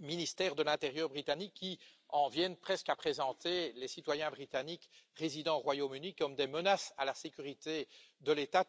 ministère de l'intérieur britannique qui en viennent presque à présenter les citoyens européens résidant au Royaume Uni comme des menaces à la sécurité de l'État.